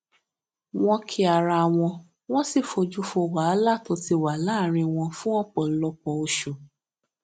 wón kí ara wọn wón sì fojú fo wàhálà tó ti wà láàárín wọn fún òpòlọpọ oṣù